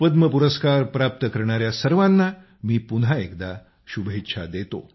पद्म पुरस्कार प्राप्त करणाऱ्या सर्वांना मी पुन्हा एकदा शुभेच्छा देतो